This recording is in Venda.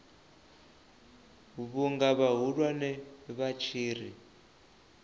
vhunga vhahulwane vha tshi ri